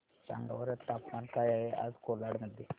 सांगा बरं तापमान काय आहे आज कोलाड मध्ये